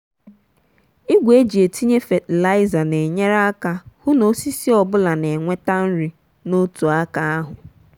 igwe eji etinye fatịlaịza na-enyere aka hụ na na osisi ọ bụla na-enweta nri n'otu aka ahụ.